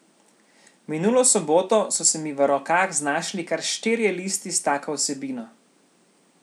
Minulo soboto so se mi v rokah znašli kar štirje listi s tako vsebino.